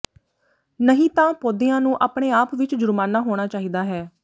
ਨਹੀਂ ਤਾਂ ਪੌਦਿਆਂ ਨੂੰ ਆਪਣੇ ਆਪ ਵਿਚ ਜੁਰਮਾਨਾ ਹੋਣਾ ਚਾਹੀਦਾ ਹੈ